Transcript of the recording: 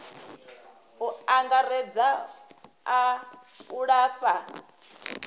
u angaredza a u lafha